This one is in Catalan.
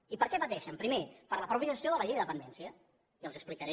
i per què pateixen primer per la mateixa gestió de la llei de dependència i els ho explicaré